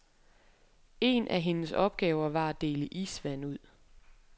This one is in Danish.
En af hendes opgaver var at dele isvand ud.